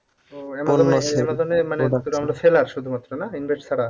মানে শুধু আমরা seller শুধুমাত্র না? invest ছাড়া।